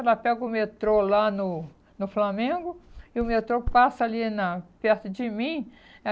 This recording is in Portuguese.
Ela pega o metrô lá no no Flamengo e o metrô passa ali na perto de mim. Aí